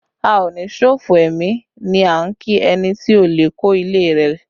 A o ní ṣòfò ẹmi ni a ń kí ẹni tí olè kó ilé rẹ